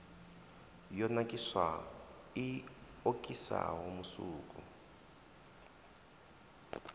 yo nakiswaho i okisaho musuku